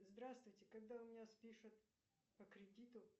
здравствуйте когда у меня спишут по кредиту